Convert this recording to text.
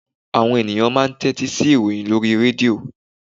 Àwọn ènìyàn máa n tétí sí ìròyìn lórí i rédíò